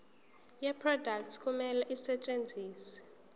yeproduct kumele isetshenziswe